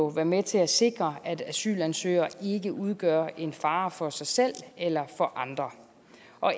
være med til at sikre at asylansøgere ikke udgør en fare for sig selv eller for andre